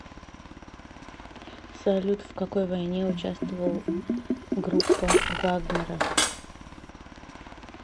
салют в какой войне участвовал группа вагнера